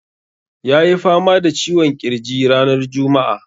Ya yi fama da ciwon ƙirji ranar juma'a.